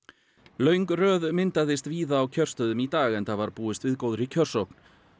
löng röð myndaðist víða á kjörstöðum í dag enda var búist við góðri kjörsókn